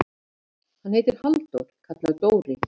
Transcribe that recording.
Hann heitir Halldór, kallaður Dóri.